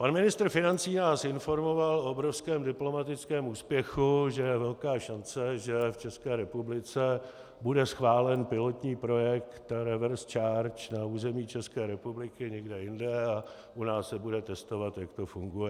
Pan ministr financí nás informoval o obrovském diplomatickém úspěchu, že je velká šance, že v České republice bude schválen pilotní projekt reverse charge na území České republiky, někde jinde, a u nás se bude testovat, jak to funguje.